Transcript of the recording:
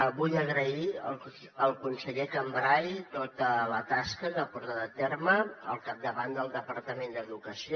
vull agrair al conseller cambray tota la tasca que ha portat a terme al capdavant del departament d’educació